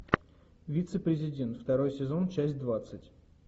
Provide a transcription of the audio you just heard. вице президент второй сезон часть двадцать